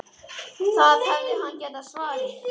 Það hefði hann getað svarið.